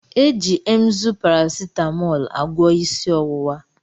Eji Emzú paracetamôôlu agwo isi owuwa.